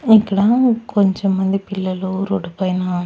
ఇట్లా కొంచెం మంది పిల్లలు రోడ్డు పైన--